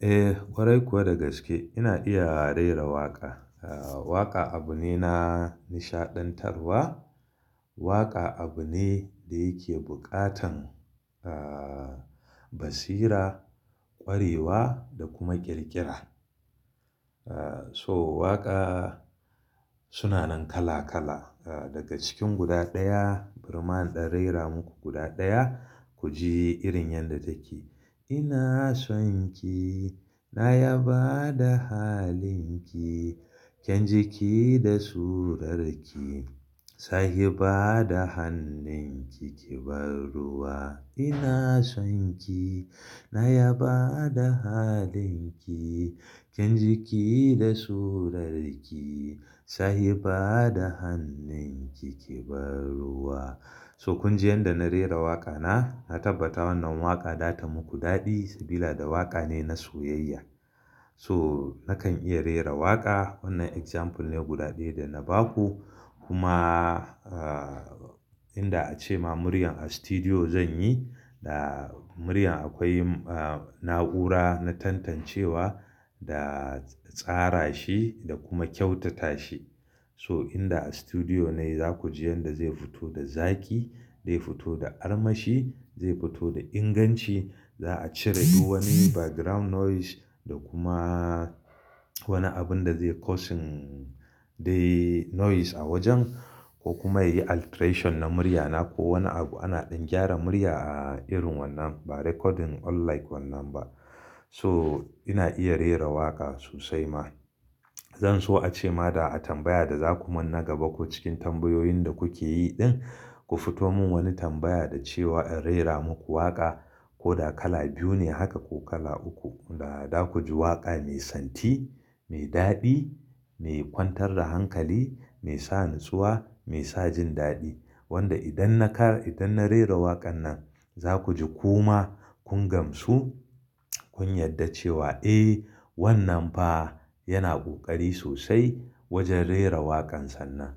Eh, ƙwarai kuwa da gaske ina iya rera waƙa. Waƙa abu ne na nishaɗantarwa. Waƙa abu ne da yake buƙatan ah basira, ƙwarewa da kuma ƙirƙira. To waƙa suna nan kala kala daga cikin guda ɗaya, barima in ɗan raira muku guda ɗaya ku ji irin yanda take. Ina sonki na yabada halinki kyan jiki da surarki sahiba da hannunki kibar ruwa. Ina sonki na yabada halinki kyan jiki da surarki sahiba da hannunki kibar ruwa. So kun ji yanda na rera waƙa na. Na tabbata wannan waƙa da ta muku daɗi sabila da waƙa ne na soyayya. So nakan iya rera waƙa wannan example ne guda ɗaya da na baku. Kuma ah inda a ce ma muryan a studio zan yi da muryan akwai na'ura na tantancewa da tsara shi da kuma kyautata shi. So inda a studio ne za ku ji yanda zai fito da zaki, zai fito da armashi, zai fito da inganci. Za a cire duk wani background noise da kuma wani abun da zai causing dai noise a wajen ko kuma yayi alteration na muryana ko wani abu ana ɗan gyara murya a irin wannan ba recording unlike wannan ba. So ina iya rera waƙa sosai ma. Zan so a ce ma da a tambaya da za ku mun na gaba ko cikin tambayoyin da kuke yi ɗin, ku fito mun wani tambaya da cewa in rera muku waƙa ko da kala biyu ne haka ko kala uku da za ku ji waƙa mai santi, mai daɗi, mai kwantar da hankali, mai sa natsuwa, mai sa jin daɗi. Wanda idan na kara, idan na rera waƙan nan za ku ji kuma kun gamsu, kun yarda cewa "Eh wannan fa yana ƙoƙari sosai wajen rera waƙan sannan."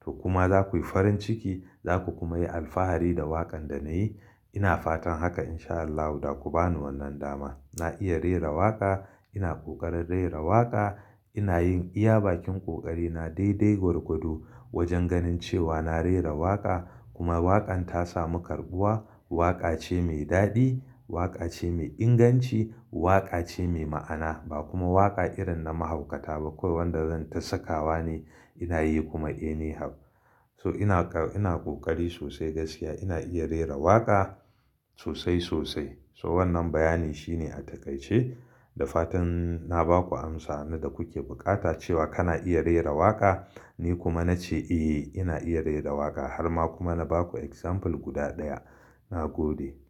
To kuma za ku yi farin ciki za ku kuma yi alfahari da waƙan da na yi. Ina fatan haka in sha Allahu daku ba ni wannan dama. Na iya rera waƙa, ina ƙoƙarin rera waƙa, ina yin iya bakin ƙoƙari na daidai gwargwado wajen ganin cewa na rera waƙa kuma waƙan ta samu karɓuwa. Waƙa ce mai daɗi, waƙa ce mai inganci, waƙa ce mai ma'ana ba kuma waƙa irin na mahaukata ba kawai wanda zan tasakawa ne ina yi kuma "any how." So ina ƙoƙari sosai gaskiya ina iya rera waƙa sosai sosai. So wannan bayani shine a takaice da fatan na ba ku amsa na da kuke buƙata cewa kana iya rera waƙa. Ni kuma na ce "Eh ina iya rera waƙa." har ma kuma na baku example guda ɗaya. Na gode.